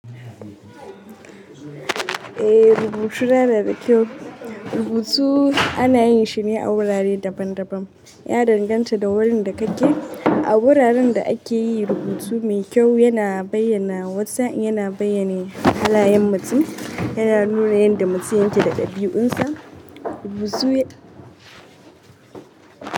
Eh rubutuna na da kyau. Rubutu ana yin shi ne a wurare daban daban. Ya danganta da wurin da kake. A wuraren da ake yi rubutu mai kyau yana bayyana wasu, yana bayyanne halayen mutum, yana nuna yanda mutum yake da ɗabi'un sa. Rubutu ya.